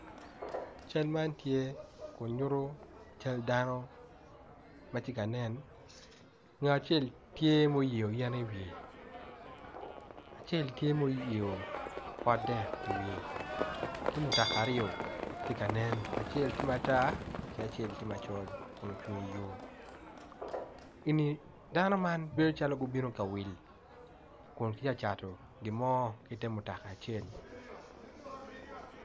Cal man tye kun nyuto cal dano tye ka nen ngat acel tye ma oyeyo yen i wiye acel the ma oyeyo pot dek i wiye ki mutoka tye ka nen acel tye matar ki acel tye macol kun ocung iyo.